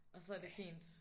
Og så er det fint?